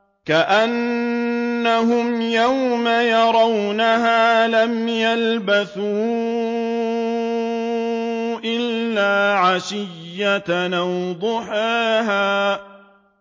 كَأَنَّهُمْ يَوْمَ يَرَوْنَهَا لَمْ يَلْبَثُوا إِلَّا عَشِيَّةً أَوْ ضُحَاهَا